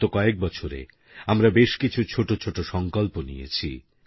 গত কয়েক বছরে আমরা বেশ কিছু ছোট ছোট সংকল্প নিয়েছি